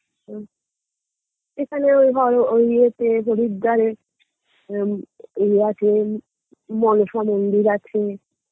হম এখানে তোমার ওই এতে হরিদ্বারে এম এ আছে ম মনসা মন্দির আছে